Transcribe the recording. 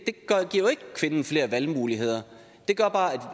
kvinden flere valgmuligheder det gør bare